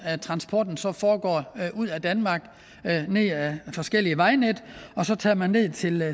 transporten så foregår ud af danmark ned ad forskellige vejnet og så tager man ned til